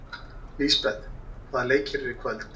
Lisbeth, hvaða leikir eru í kvöld?